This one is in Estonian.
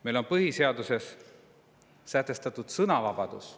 Meil on põhiseaduses sätestatud ka sõnavabadus.